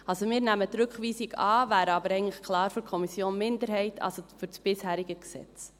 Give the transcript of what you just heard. Also: Wir nehmen die Rückweisung an, wären aber eigentlich klar für die Kommissionsminderheit, also das bisherige Gesetz.